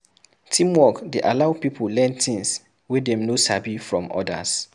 Teamwork dey allow pipo learn things wey dem no sabi from others